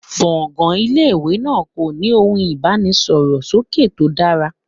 Gbọ̀ngàn ilé ìwé náà kò ní ohun ìbánisọ̀rọ̀ sókè tó dára.